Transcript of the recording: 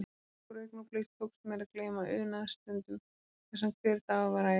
Nokkur augnablik tókst mér að gleyma unaðsstundum þar sem hver dagur var ævintýri.